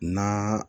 Na